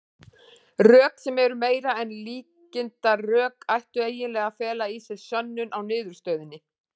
Rök, sem eru meira en líkindarök, ættu eiginlega að fela í sér sönnun á niðurstöðunni.